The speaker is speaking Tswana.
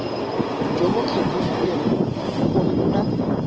jo bo kgethegileng go nna